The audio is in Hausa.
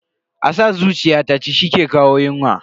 A sa zuciya ta ci shi ke kawo yunwa.